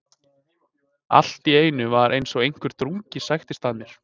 Allt í einu var eins og einhver drungi sækti að mér.